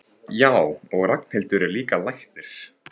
Já, og Ragnhildur er líka læknir.